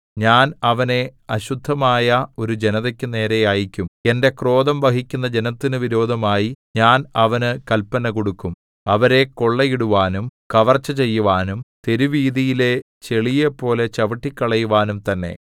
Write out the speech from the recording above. ഞാൻ അവനെ അശുദ്ധമായ ഒരു ജനതക്കു നേരെ അയയ്ക്കും എന്റെ ക്രോധം വഹിക്കുന്ന ജനത്തിനു വിരോധമായി ഞാൻ അവന് കല്പന കൊടുക്കും അവരെ കൊള്ളയിടുവാനും കവർച്ച ചെയ്യുവാനും തെരുവീഥിയിലെ ചെളിയെപ്പോലെ ചവിട്ടിക്കളയുവാനും തന്നെ